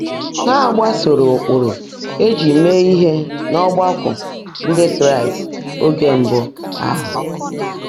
Hà́ gbàsóòró ụ́kpụ́rụ́ è jị́ meè íhe n’ọ́gbákwọ́ Ndị́ Kráịst óge mbụ́ áhụ́?